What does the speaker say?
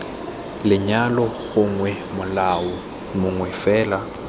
lenyalo gongwe molao mongwe fela